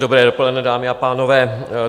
Dobré dopoledne, dámy a pánové.